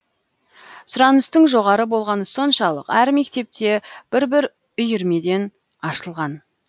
сұраныстың жоғары болғаны соншалық әр мектепте бір бір үйірмеден ашылған